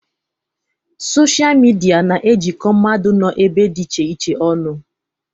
Sochịa midia na-ejikọ mmadụ nọ ebe dị iche iche ọnụ.